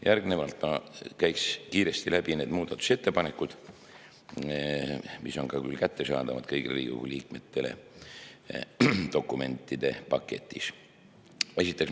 Järgnevalt käin kiiresti läbi need muudatusettepanekud, mis on küll ka kättesaadavad kõigile Riigikogu liikmetele dokumentide paketis.